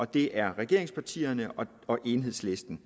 det er regeringspartierne og enhedslisten